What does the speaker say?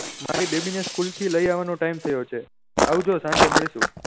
મારી બેબી ને school થી લઇ આવાનો time થયો છે આવજો સાંજે મળીશું